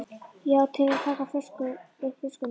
Já, til að taka upp flöskuna